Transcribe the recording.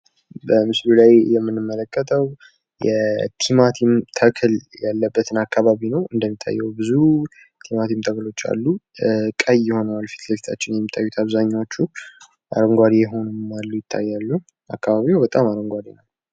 በምስሉ ላይ የምንመለከተው የቲማቲም ተክል ያለበትን አካባቢ ነው። እንደሚታየው ብዙ ቲማቲም ተክሎች አሉ። ቀይ ሆነዋል ፊትለፊታችን የሚታዩት አብዛኞቹ ፤ አረንጓዴም የሆኑ አሉ። አካባቢው በጣም አረንጓዴ ነው።